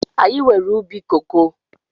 Anyị nwere ubi koko